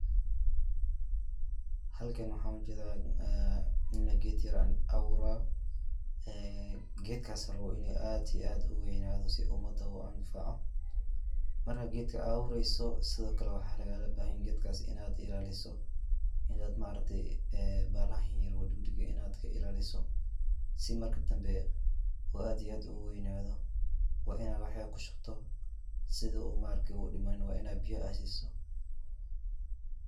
Halkan waxaan ujeeda nin geed yar abuurayo, geedkaas oo uu rabo in aad iyo aad uweynado si uu umada u anfaco, markaad geed abureyso sido kale waxaa lagaaga bahan yahay geedkaas inaad ilaaliso, inaad bahalaha yar ka ilaaliso, si marka dambe uu aad iyo aad ugu weynaado, waa inaad wax ku shubto, si uu udimanin waa inaad biya aad siiso.